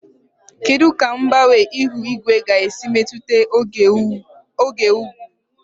Kedu ka mgbanwe ihu igwe ga-esi metụta oke ugwu?